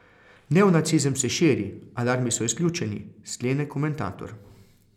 Neonacizem se širi, alarmi so izključeni, sklene komentator.